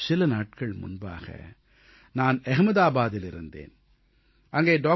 சில நாட்கள் முன்பாக நான் அஹமதாபாதில் இருந்தேன் அங்கே டாக்டர்